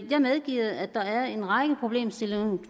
jeg medgiver at der er en række problemstillinger